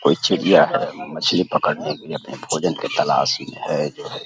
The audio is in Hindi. कोई चिड़ियाँ है। मछली पकड़ने के लिए अपने भोजन के लिए तलाश में है जो है।